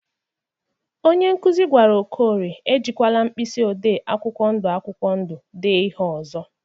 Onye nkụzị gwara Okorie e jikwala mkpisi edemede akwụkwọ ndu akwụkwọ ndu dee ihe ọzọ.